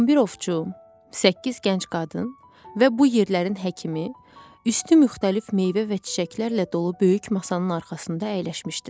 11 ovçu, səkkiz gənc qadın və bu yerlərin həkimi, üstü müxtəlif meyvə və çiçəklərlə dolu böyük masanın arxasında əyləşmişdilər.